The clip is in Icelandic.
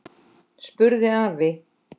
spurði afi.